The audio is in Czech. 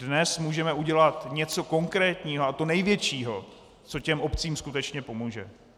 Dnes můžeme udělat něco konkrétního, a to největšího, co těm obcím skutečně pomůže.